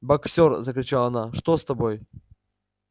боксёр закричала она что с тобой